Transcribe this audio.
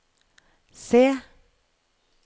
C